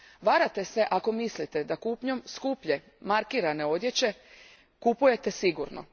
Varate se ako mislite da kupnjom skuplje, markirane odjeće kupujete sigurno.